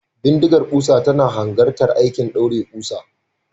Bindigar kusa tana hanzarta aikin daure kusa.